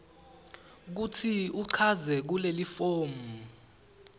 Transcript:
kutsi uchaze kulelifomu